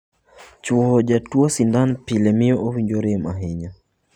Chowo ja tuwo sindan pile miyo owinjo rem ahinya.